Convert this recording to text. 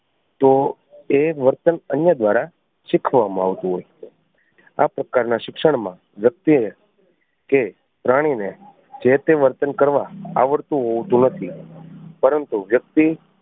તો એ વર્તન અન્ય દ્વારા શીખવવામાં આવતું હોય છે. આ પ્રકાર ના શિક્ષણ માં વ્યક્તિ ને કે પ્રાણી ને જે તે વર્તન કરવા આવડતું હોતું નથી પરંતુ વ્યક્તિ